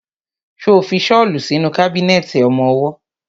Ṣo fi ṣọ́lù sínú kábínẹ̀tì ọmọwọ́?